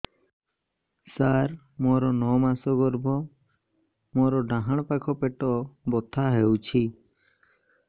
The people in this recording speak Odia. ସାର ମୋର ନଅ ମାସ ଗର୍ଭ ମୋର ଡାହାଣ ପାଖ ପେଟ ବଥା ହେଉଛି